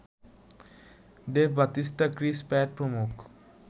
Dave Batista, Chris Pat প্রমুখ